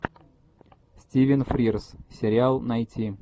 стивен фрирз сериал найти